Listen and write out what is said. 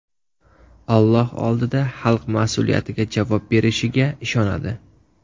Alloh oldida xalq mas’uliyatiga javob berishiga ishonadi.